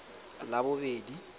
labobedi